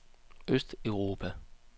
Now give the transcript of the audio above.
østeuropa